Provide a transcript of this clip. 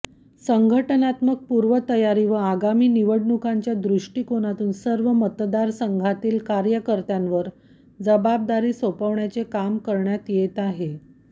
संघटनात्मक पूर्वतयारी व आगामी निवडणुकांच्या दृष्टीकोनातून सर्व मतदारसंघांतील कार्यकर्त्यांवर जबाबदारी सोपवण्याचे काम करण्यात येत आहे